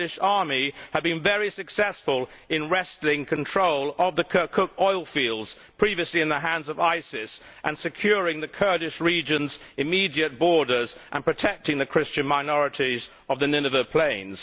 the Kurdish army, has been very successful in wrestling control of the Kirkuk oilfields previously in the hands of ISIS and securing the Kurdish region's immediate borders and protecting the Christian minorities of the Nineveh plains.